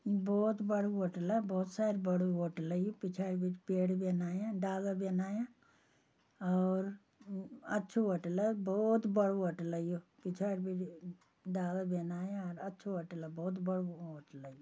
ईं बहुत बडू होटला बहुत सारी बडू होटला यु पिछाड़ी भीटे पेड़ बिन आयाँ डाला बिन आयाँ और अच्छू होटला और बहुत बडू होटला यु पिछाड़ी भीटे डाला बिन आयाँ और अच्छू होटला बहुत बडू होटला यु।